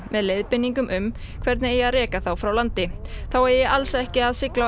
með leiðbeiningum um hvernig eigi að reka þá frá landi þá eigi alls ekki að sigla